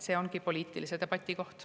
See ongi poliitilise debati koht.